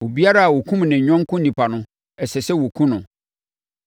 “ ‘Obiara a ɔkum ne yɔnko onipa no, ɛsɛ sɛ wɔkum no.